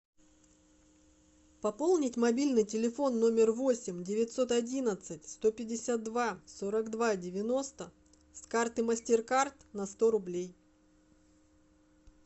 пополнить мобильный телефон номер восемь девятьсот одиннадцать сто пятьдесят два сорок два девяносто с карты мастеркард на сто рублей